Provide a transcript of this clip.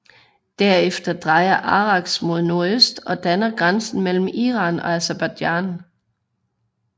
Derefter drejer Araks mod nordøst og danner grænsen mellem Iran og Aserbajdsjan